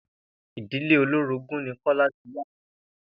Ìdílé olórogún ni Kó̩lá ti wá